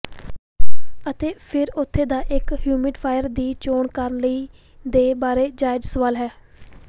ਅਤੇ ਫਿਰ ਉਥੇ ਦਾ ਇੱਕ ਹਯੁਮਿਡਿਫਾਇਅਰ ਦੀ ਚੋਣ ਕਰਨ ਲਈ ਦੇ ਬਾਰੇ ਜਾਇਜ਼ ਸਵਾਲ ਹੈ